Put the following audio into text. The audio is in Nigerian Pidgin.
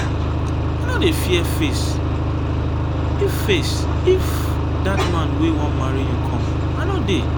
i no dey fear face if face if dat man wey wan marry you come i no dey.